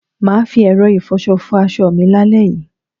Mà á fi ẹ̀rọ ìfọṣọ fọ aṣọ mi lálẹ́ yìí.